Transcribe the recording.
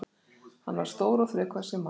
Hann var stór og þrekvaxinn maður.